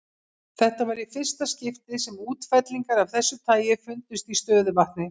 Þetta var í fyrsta skipti sem útfellingar af þessu tagi fundust í stöðuvatni.